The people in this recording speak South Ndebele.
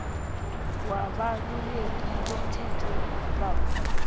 wabaluleki bomthetho bamva